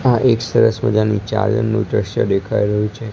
આ એક સરસ મજાની ચાદરનુ દૃશ્ય દેખાય રહ્યુ છે.